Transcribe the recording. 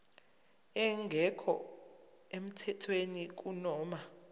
engekho emthethweni kunoma